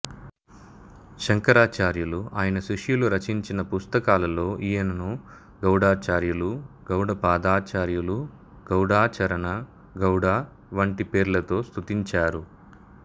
శంకరాచార్యులు ఆయన శిష్యులు రచించిన పుస్తకాలలో ఈయనను గౌడాచార్యులు గౌడపాదాచార్యులు గౌడాచరణ గౌడ వంటి పేర్లతో స్తుతించారు